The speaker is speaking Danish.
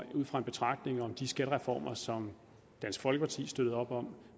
det ud fra en betragtning om de skattereformer som dansk folkeparti støttede op om